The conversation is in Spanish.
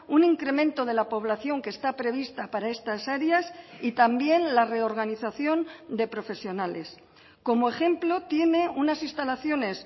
un incremento de la población que está prevista para estas áreas y también la reorganización de profesionales como ejemplo tiene unas instalaciones